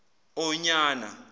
onyana